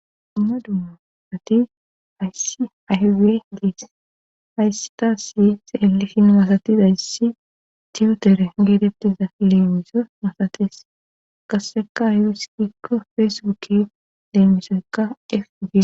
Dumma dummasati ayssi aywe diis haystasi xeelifin masatiza yssi tiutere geetettiza leemiso masates qasseka yuuskikko feesbukki leemisoykka efdi.